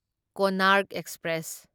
Konark express